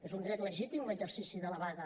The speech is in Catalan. és un dret legítim l’exercici de la vaga